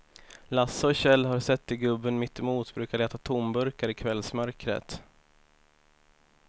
Lasse och Kjell har sett hur gubben mittemot brukar leta tomburkar i kvällsmörkret.